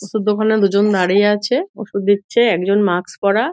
ওষুধ দোকানে দুজন দাঁড়িয়ে আছে। ওষুধ দিচ্ছে। একজন মাস্ক পড়া।